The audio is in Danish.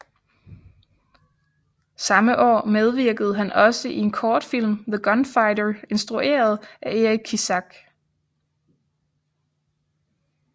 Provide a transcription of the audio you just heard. Samme år medvirkede han også i en kortfilm The Gunfighter instrueret af Eric Kissack